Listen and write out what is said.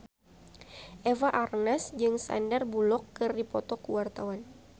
Eva Arnaz jeung Sandar Bullock keur dipoto ku wartawan